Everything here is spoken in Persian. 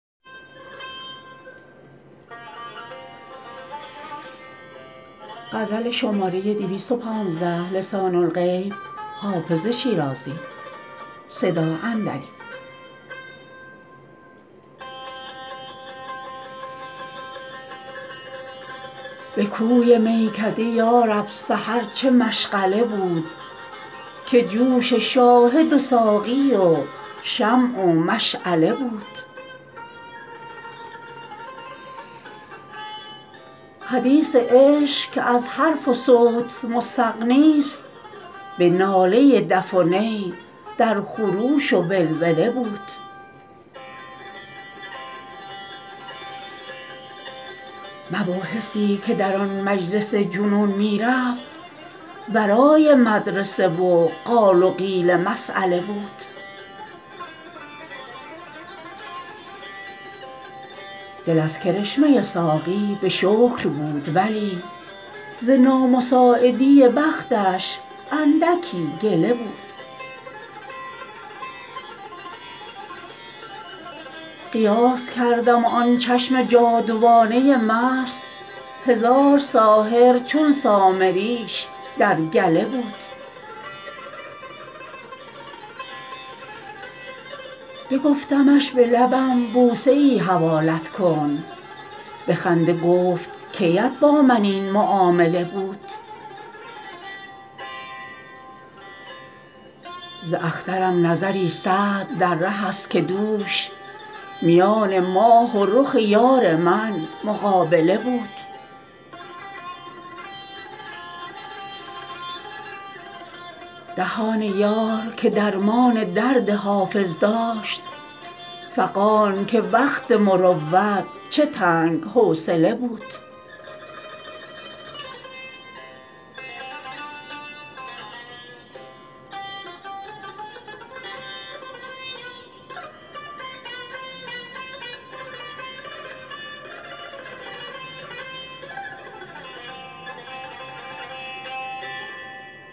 به کوی میکده یا رب سحر چه مشغله بود که جوش شاهد و ساقی و شمع و مشعله بود حدیث عشق که از حرف و صوت مستغنیست به ناله دف و نی در خروش و ولوله بود مباحثی که در آن مجلس جنون می رفت ورای مدرسه و قال و قیل مسأله بود دل از کرشمه ساقی به شکر بود ولی ز نامساعدی بختش اندکی گله بود قیاس کردم و آن چشم جادوانه مست هزار ساحر چون سامریش در گله بود بگفتمش به لبم بوسه ای حوالت کن به خنده گفت کی ات با من این معامله بود ز اخترم نظری سعد در ره است که دوش میان ماه و رخ یار من مقابله بود دهان یار که درمان درد حافظ داشت فغان که وقت مروت چه تنگ حوصله بود